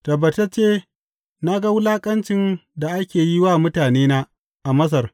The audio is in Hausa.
Tabbatacce na ga wulaƙancin da ake yi wa mutanena a Masar.